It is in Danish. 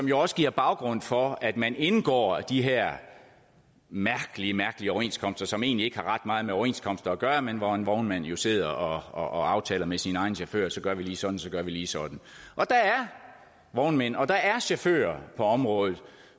jo også giver baggrund for at man indgår de her mærkelige mærkelige overenskomster som egentlig ikke har ret meget med overenskomster at gøre men hvor en vognmand jo sidder og og aftaler med sin egen chauffør at så gør vi lige sådan og så gør vi lige sådan og der er vognmænd og der er chauffør på området